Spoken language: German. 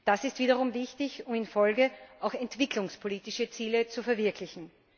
Das ist wiederum wichtig, um in der Folge auch entwicklungspolitische Ziele zu verwirklichen.